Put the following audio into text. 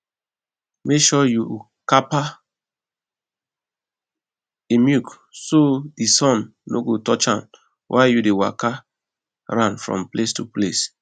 make sure you kapa di milk so di sun no go touch am while you dey waka am from place to place